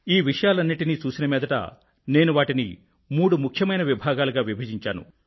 ఈ విషయాలన్నింటినీ చూసిన మీదట నేను వాటిని మూడు ముఖ్యమైన విభాగాలుగా విభజించాను